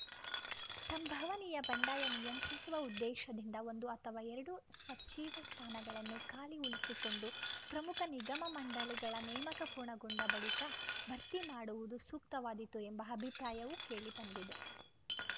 ಸಂಭವನೀಯ ಬಂಡಾಯ ನಿಯಂತ್ರಿಸುವ ಉದ್ದೇಶದಿಂದ ಒಂದು ಅಥವಾ ಎರಡು ಸಚಿವ ಸ್ಥಾನಗಳನ್ನು ಖಾಲಿ ಉಳಿಸಿಕೊಂಡು ಪ್ರಮುಖ ನಿಗಮ ಮಂಡಳಿಗಳ ನೇಮಕ ಪೂರ್ಣಗೊಂಡ ಬಳಿಕ ಭರ್ತಿ ಮಾಡುವುದು ಸೂಕ್ತವಾದೀತು ಎಂಬ ಅಭಿಪ್ರಾಯವೂ ಕೇಳಿಬಂದಿದೆ